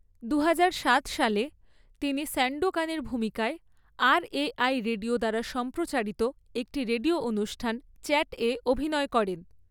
দুহাজার সাত সালে তিনি স্যান্ডোকানের ভূমিকায় আরএআই রেডিও দ্বারা সম্প্রচারিত একটি রেডিও অনুষ্ঠান 'চ্যাটে' অভিনয় করেন